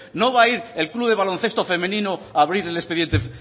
no va a ir el club de baloncesto femenino a abrir el expediente